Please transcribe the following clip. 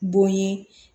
Bonɲɛ